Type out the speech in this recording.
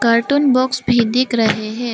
Cartoon box भी दिख रहे है।